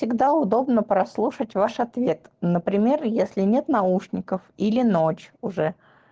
тогда удобно прослушать ваш ответ например если нет наушников или ночь уже